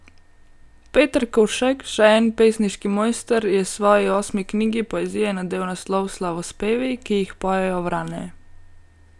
Peter Kolšek, še en pesniški mojster, je svoji osmi knjigi poezije nadel naslov Slavospevi, ki jih pojejo vrane.